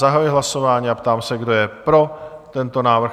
Zahajuji hlasování a ptám se, kdo je pro tento návrh?